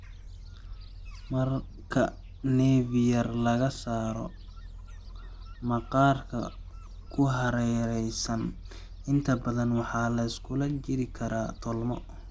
Marka nevi yar laga saaro, maqaarka ku hareeraysan inta badan waxaa la iskula jiidi karaa tolmo.